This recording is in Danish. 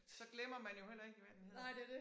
Så glemmer man jo heller ikke hvad den hedder